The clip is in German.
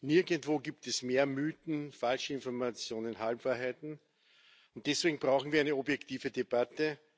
Nirgendwo gibt es mehr Mythen, Falschinformationen, Halbwahrheiten, und deswegen brauchen wir eine objektive Debatte.